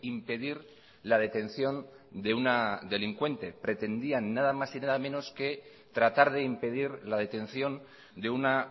impedir la detención de una delincuente pretendían nada más y nada menos que tratar de impedir la detención de una